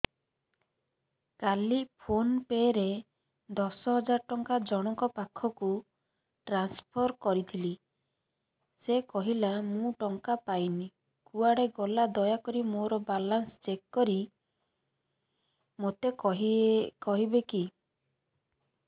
କାଲି PhonePe ରେ ଦଶ ହଜାର ଟଙ୍କା ଜଣକ ପାଖକୁ ଟ୍ରାନ୍ସଫର୍ କରିଥିଲି ସେ କହିଲା ମୁଁ ଟଙ୍କା ପାଇନି କୁଆଡେ ଗଲା ଦୟାକରି ମୋର ବାଲାନ୍ସ ଚେକ୍ କରି ମୋତେ କହିବେ କି